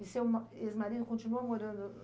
E seu ma ex-marido continua morando